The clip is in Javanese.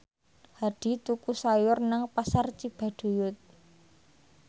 Hadi tuku sayur nang Pasar Cibaduyut